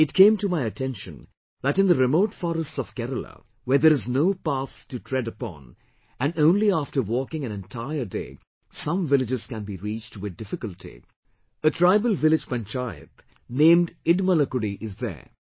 It came to my attention, that in the remote forests of Kerala where there is no path to tread upon and only after walking an entire day, some villages can be reached with difficulty; a tribal village panchayat named Idmalakudi is there